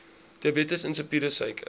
diabetes insipidus suiker